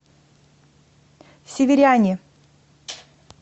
северяне